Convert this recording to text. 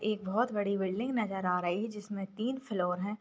एक बहोत बड़ी बिल्डिंग नजर आ रही जिसमे तीन फ्लोर है।